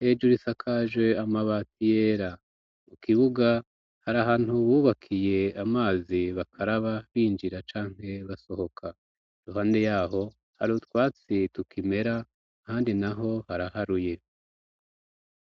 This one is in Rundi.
hejuri isakaje amabati yera mu kibuga hari ahantu bubakiye amazi bakaraba binjira canke basohoka irohande yaho hari utwatsi tukimera handi naho haraharuye